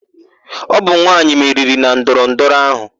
Ọ bụ nwaanyị meriri na ndọrọ ndọrọ áhụ.